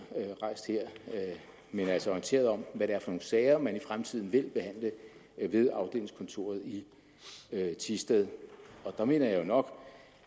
men altså orienteret om hvad det er for sager man i fremtiden vil behandle ved afdelingskontoret i thisted der mener jeg nok